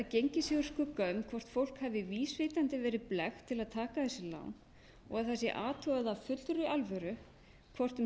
gengið sé úr skugga um hvort fólk hafi vísvitandi verið blekkt til að taka þessi lán og það sé athugað af fullri alvöru hvort um